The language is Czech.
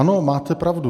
Ano, máte pravdu.